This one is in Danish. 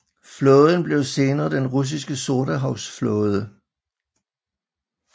Flåden blev senere den russiske Sortehavs Flåde